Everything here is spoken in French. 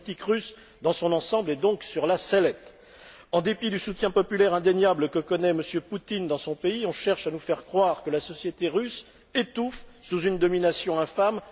La politique russe, dans son ensemble, est donc sur la sellette. En dépit du soutien populaire indéniable que connaît M. Poutine dans son pays, on cherche à nous faire croire que la société russe étouffe sous une domination infâme.